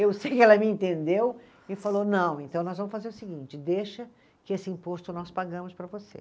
Eu sei e ela me entendeu e falou, não, então nós vamos fazer o seguinte, deixa que esse imposto nós pagamos para você.